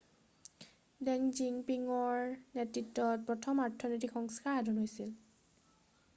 ডেং জিয়াঅ'পিঙৰ নেতৃত্বত প্ৰথম অৰ্থনৈতিক সংস্কাৰ সাধন হৈছিল